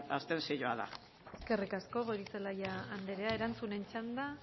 abstentzioa da eskerrik asko goirizelaia andrea erantzunen txanda